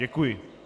Děkuji.